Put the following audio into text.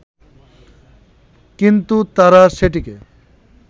কিন্তু তারা সেটিকে